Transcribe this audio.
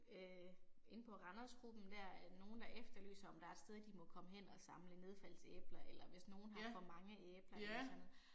Øh inde på Randers-gruppen dér at nogen der efterlyser om der er et sted de må komme hen og samle nedfaldsæbler eller hvis nogen har for mange æbler eller sådan noget